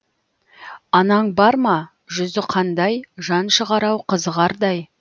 анаң бар ма жүзі қандай жан шығар ау қызығардай